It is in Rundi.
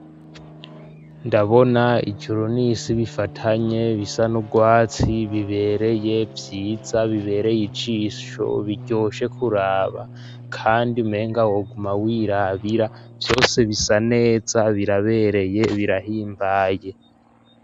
Ndabona ijuro n'isi bifatanye bisa n'urwatsi bibereye vyiza bibereye ijisho biryoshe kuraba kandi menga woguma wirabira vyose bisaneza birabereye birahimbaye.